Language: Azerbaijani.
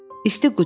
İsti qucaq.